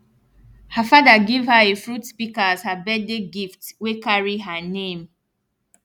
her fada give her a fruit pika as her birthday gift wey carry her name